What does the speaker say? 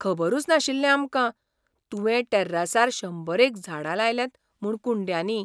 खबरूच नाशिल्लें आमकां, तुवें टॅर्रासार शंबरेक झाडां लायल्यांत म्हूण कुंड्यांनी.